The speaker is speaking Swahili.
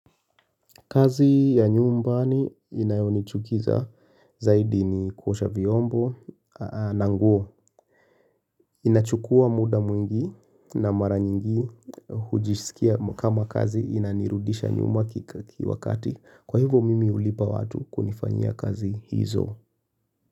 Kazi ya nyumbani inayonichukiza zaidi ni kuosha viombo, na nguo. Inachukua muda mwingi na mara nyingi hujisikia kama kazi inanirudisha nyuma kiki wakati. Kwa hivo mimi hulipa watu kunifanya kazi hizo.